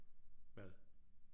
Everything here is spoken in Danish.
Hvad